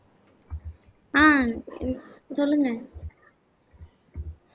அஹ் சொல்லுங்க